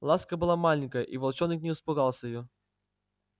ласка была маленькая и волчонок не испугался её